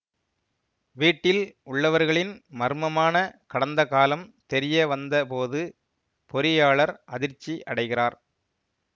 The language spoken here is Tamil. வீட்டில் உள்ளவர்களின் மர்மமான கடந்தகாலம் தெரியவந்த போது பொறியாளர் அதிர்ச்சி அடைகிறார்